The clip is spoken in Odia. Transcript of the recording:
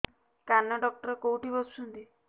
କାନ ଡକ୍ଟର କୋଉଠି ବସୁଛନ୍ତି